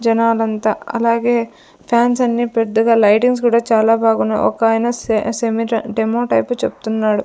జనాలంతా అలాగే ఫ్యాన్స్ అన్ని పెద్దగా లైటింగ్స్ గూడా చాలా బాగున్నాయి ఒక ఆయన సే సేమిట్ డెమో టైప్ చెప్తున్నాడు.